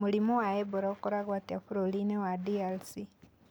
Mũrimũ wa Ebola ũkoragwo atĩa bũrũri-inĩ wa DRC?